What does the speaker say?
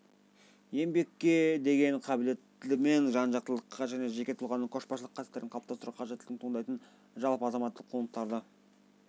еңбекке деген қабілеттімен жан-жақтылыққа және жеке тұлғаның көшбасшылық қасиеттерін қалыптастыруға қажеттілігінен туындайтын жалпы азаматтық құндылықтарды